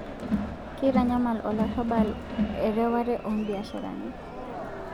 Keitanyamal olarrabal ereware oo mbiasharani